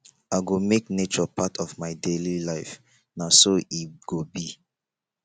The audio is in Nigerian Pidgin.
i go make nature part of my daily life na so e go be